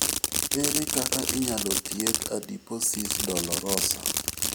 Ere kaka inyalo thiedh adiposis dolorosa?